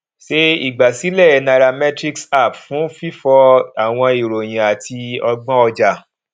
ṣe igbasilẹ nairametrics app fun fifọ awọn iroyin ati ọgbọn ọja